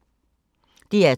DR2